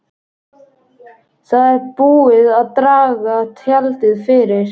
Það er búið að draga tjaldið fyrir.